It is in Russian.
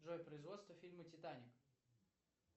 джой производство фильма титаник